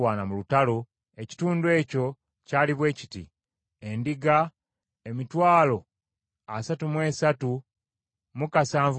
ekitundu ekyo kyali bwe kiti: Endiga, emitwalo asatu mu esatu mu bitaano (337,500);